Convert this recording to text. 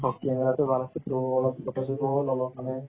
অ camera টু ভাল আছে তো অলপ photo ছতো ললো মানে